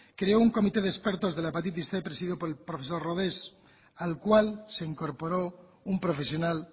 creó un comité de expertos de la hepatitis cien presidido por el profesor rodés al cual se incorporó un profesional